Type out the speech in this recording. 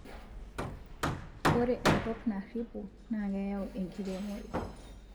ore enkop naripo naa keyaau enkiremore